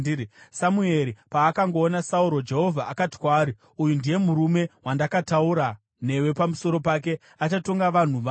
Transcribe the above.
Samueri paakangoona Sauro, Jehovha akati kwaari, “Uyu ndiye murume wandakataura newe pamusoro pake; achatonga vanhu vangu.”